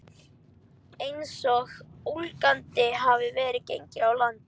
Einsog ólgandi hafið væri gengið á land.